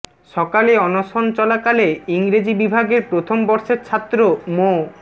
সকালে অনশন চলাকালে ইংরেজি বিভাগের প্রথম বর্ষের ছাত্র মো